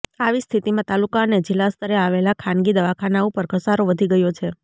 આવી સ્થિતિમાં તાલુકા અને જિલ્લાસ્તરે આવેલા ખાનગી દવાખાના ઉપર ઘસારો વધી ગયો છે